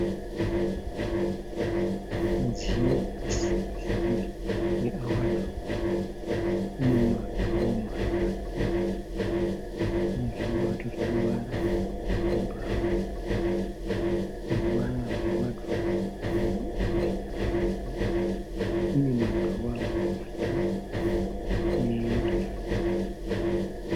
Mudziyo wekusiira hembe wewadhirobhu. Unemadhoo matatu unezvimubato zveruvara rwebhurauni. Ruvara rwewadhirobhu nderwekaki. Inemadhirowa matatu negirazi.